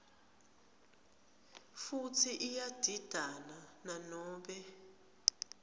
futsi iyadidana nanobe